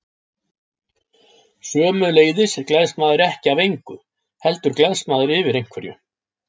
Sömuleiðis gleðst maður ekki af engu, heldur gleðst maður yfir einhverju.